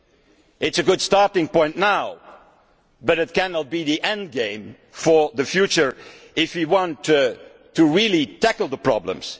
It is a good starting point, but it cannot be the endgame for the future if we want to really tackle the problems.